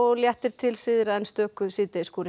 léttir til syðra en stöku